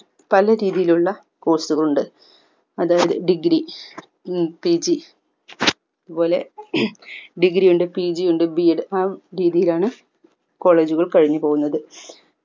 പലരീതിയിലുള്ള course കൾ ഉണ്ട് അതായത് degree ഉം Pg അതുപോലെ degree ഉണ്ട് pg ഉണ്ട് b. ed ആഹ് ആ രീതിയിലാണ് college കൾ കഴിഞ്ഞുപോകുന്നത്